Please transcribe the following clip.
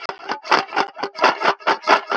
Þetta verður æðisleg stund.